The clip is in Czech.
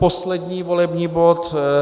Předposlední volební bod.